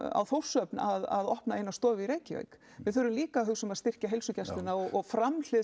á Þórshöfn að opna eina stofu í Reykjavík við þurfum líka að hugsa um að styrkja heilsugæsluna og framhlið